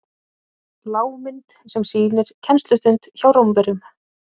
lágmynd sem sýnir kennslustund hjá rómverjum